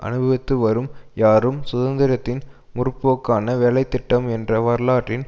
அனுபவித்துவரும் யாரும் சுதந்திரத்தின் முற்போக்கான வேலை திட்டம் என்ற வரலாற்றின்